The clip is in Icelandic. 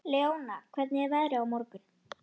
Leona, hvernig er veðrið á morgun?